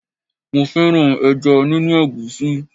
Mo fẹ́ràn ẹja nínú egusi.